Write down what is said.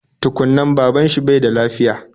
Tukun nan, baban shi bai da lafiya